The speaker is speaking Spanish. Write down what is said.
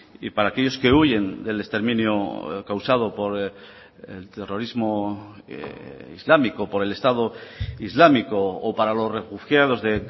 y para aquellos que huyen del exterminio causado por el terrorismo islámico por el estado islámico o para los refugiados de